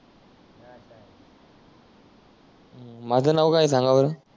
हम्म माझ नाव काय आहे संगा बर